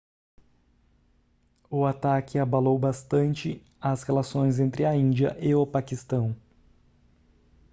o ataque abalou bastante as relações entre a índia e o paquistão